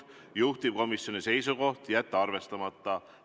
Juhtivkomisjoni seisukoht on jätta see arvestamata.